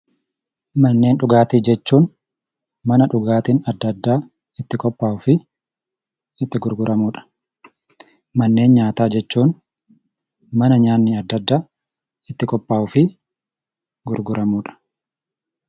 Manneen dhugaatii jechuun mana dhugaatiin adda addaa itti qophaa'u fi itti gurguramudha. Manneen nyaataa jechuun mana nyaanni adda addaa itti qophaa'u fi gurguramudha.